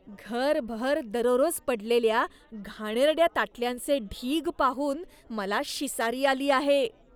घरभर दररोज पडलेल्या घाणेरड्या ताटल्यांचे ढीग पाहून मला शिसारी आली आहे.